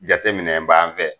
Jateminɛ b'an fɛ